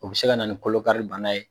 O bɛ se ka na ni kolo kari banna ye.